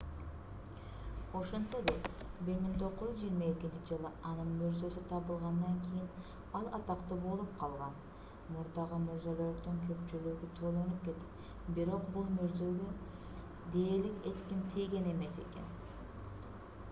ошентсе да 1922-жылы анын мүрзөсү табылгандан кийин ал атактуу болуп калган мурдагы мүрзөлөрдүн көпчүлүгү тонолуп кетип бирок бул мүрзөгө дээрлик эч ким тийген эмес экен